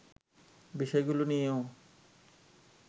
বিষয়গুলো নিয়েও